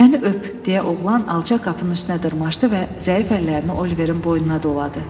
Məni öp, deyə oğlan alçaq qapının üstünə dırmaşdı və zəif əllərini Oliverin boynuna doladı.